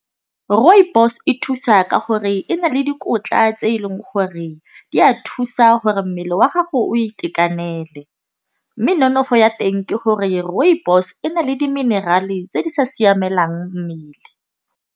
Rooibos e thusa ka gore e na le dikotla tse eleng gore di a thusa gore mmele wa gago o itekanele. Mme nonofo ya teng ke gore rooibos e na le di-mineral-e tse di sa siamelang mmele.